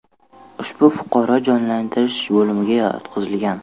Ushbu fuqaro jonlantirish bo‘limiga yotqizilgan.